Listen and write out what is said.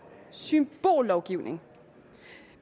symbollovgivning